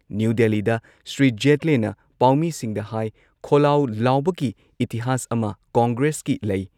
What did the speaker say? new ꯗꯦꯜꯂꯤꯗ ꯁ꯭ꯔꯤ ꯖꯦꯠꯂꯦꯅ ꯄꯥꯎꯃꯤꯁꯤꯡꯗ ꯍꯥꯏ ꯈꯣꯜꯂꯥꯎ ꯂꯥꯎꯕꯒꯤ ꯏꯇꯤꯍꯥꯁ ꯑꯃ ꯀꯣꯡꯒ꯭ꯔꯦꯁꯀꯤ ꯂꯩ